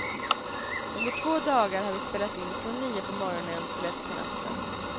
Under två dagar har vi spelat in från nio på morgonen till ett på natten.